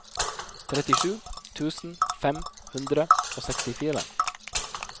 trettisju tusen fem hundre og sekstifire